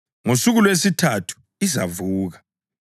Ngosuku lwesithathu izavuka.”